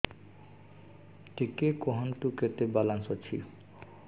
ଟିକେ କୁହନ୍ତୁ କେତେ ବାଲାନ୍ସ ଅଛି